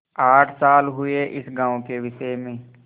आठ साल हुए इस गॉँव के विषय में